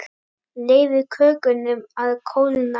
Leyfið kökunum að kólna.